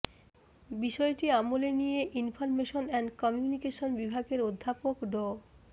বিষয়টি আমলে নিয়ে ইনফরমেশন অ্যান্ড কমিউনিকেশন বিভাগের অধ্যাপক ড